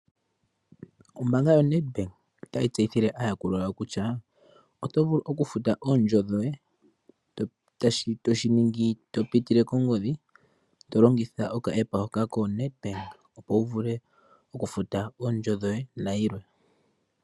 Ombaanga yoNedbank otayi tseyithile aayakulwa yawo kutya oto vulu okufuta oondjo dhoye. Oho shi ningi topitile kongodhi tolongitha okafutilo kokomalungula koNedBank opo wuvule okufuta oondjo dhoye nayilwe.